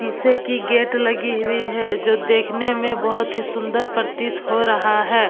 शीशे की गेट लगी हुई हैं जो देखने मे बहुत ही सुंदर प्रतीत हो रहा हैं।